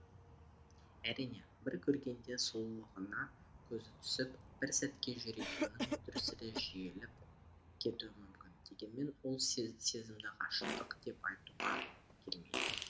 әрине бір көргенде сұлулығына көзі түсіп бір сәтке журегінің дүрсілі жиілеп кетуі мүмкін дегенмен ол сезімді ғашықтық деп айтуға келмейді